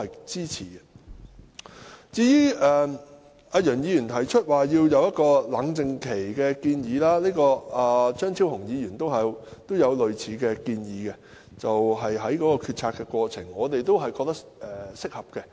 至於楊議員提出設立冷靜期，張超雄議員亦有類似建議，在決策過程中設立冷靜期，我們覺得這是合適的。